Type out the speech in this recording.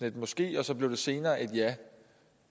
et måske og så blev det senere et ja